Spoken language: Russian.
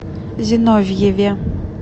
зиновьеве